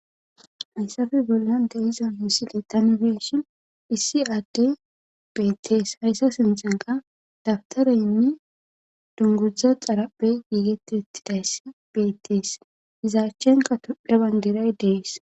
Hayssafe bollante iza misiletanfeshin hissi aadde beettees hayssa sintenka dabtareynne dunguzdza xarape giigettettidayss beettees izaachchenka tuphe bandiray dees